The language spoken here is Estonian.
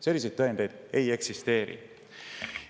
Selliseid tõendeid ei eksisteeri.